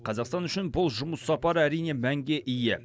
қазақстан үшін бұл жұмыс сапары әрине мәнге ие